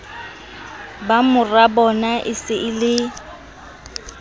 ba morabona e se e